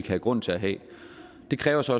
have grund til at have det kræver også